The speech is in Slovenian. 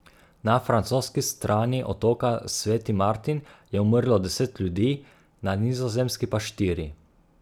Na francoski strani otoka Sveti Martin je umrlo deset ljudi, na nizozemski pa štiri.